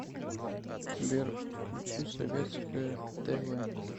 сбер включи советское тэ вэ